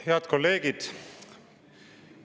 Head kolleegid!